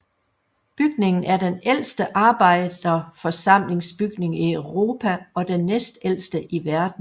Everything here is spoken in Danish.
Bygningen er den ældste arbejderforsamlingsbygning i Europa og den næstældste i verden